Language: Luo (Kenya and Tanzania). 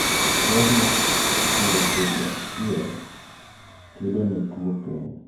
berr ne puro kodhi achiel. GLPx92 900 1600 2-3 5-7 kedo ne tuwo piny.